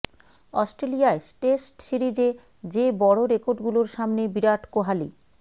অস্ট্রেলিয়ায় টেস্ট সিরিজে যে বড় রেকর্ডগুলোর সামনে বিরাট কোহালি